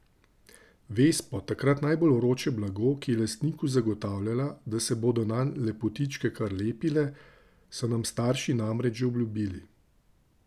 Vespo, takrat najbolj vroče blago, ki je lastniku zagotavljala, da se bodo nanj lepotičke kar lepile, so nam starši namreč že obljubili.